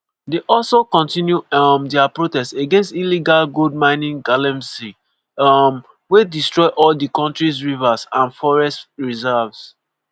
dey also continue um dia protest against illegal gold mining (galamsey) um wey destroy all di kontries rivers and forest reserves.